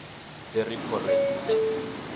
the repo rate